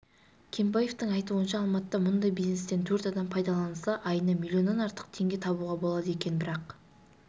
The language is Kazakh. кенбаевтың айтуынша алматыда мұндай бизнестен төрт адам пайдаланылса айына миллионнан артық теңге табуға болады екен бірақ